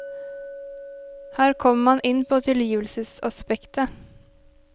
Her kommer man inn på tilgivelsesaspektet.